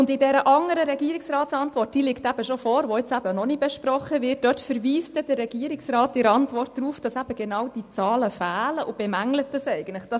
In dieser anderen Regierungsantwort, die ebenfalls vorliegt, aber jetzt eben noch nicht besprochen wird, verweist der Regierungsrat darauf, dass eben genau diese Zahlen fehlen und bemängelt dies eigentlich auch.